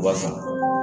Wa